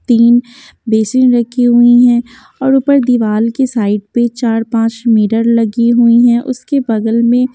तीन बेसिन रखी हुई हैंऔर ऊपर दीवाल के साइड पे चार-पांच मिरर लगी हुई हैंउसके बगल में--